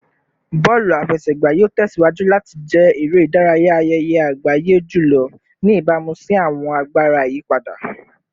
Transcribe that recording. Bọọlu afẹsẹgba yoo tẹsiwaju lati jẹ ere-idaraya ayẹyẹ agbaye julọ, ni ibamu si awọn agbara iyipada